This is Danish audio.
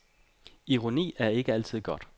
Ironi er ikke altid godt.